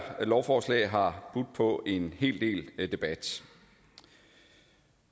lovforslag har budt på en hel del debat